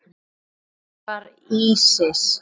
Hver var Ísis?